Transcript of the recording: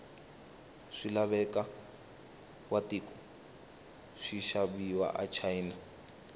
swilaveko watiko swishaviwa achina